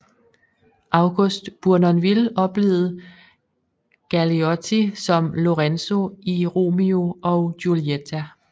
August Bournonville oplevede Galeotti som Lorenzo i Romeo og Giulietta